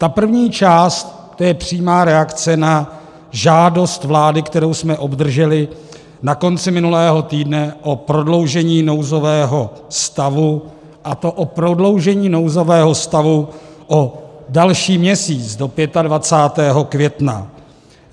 Ta první část, to je přímá reakce na žádost vlády, kterou jsme obdrželi na konci minulého týdne o prodloužení nouzového stavu, a to o prodloužení nouzového stavu o další měsíc do 25. května.